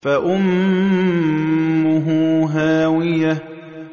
فَأُمُّهُ هَاوِيَةٌ